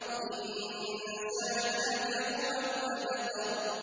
إِنَّ شَانِئَكَ هُوَ الْأَبْتَرُ